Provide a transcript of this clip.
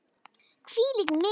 Hvílík mistök!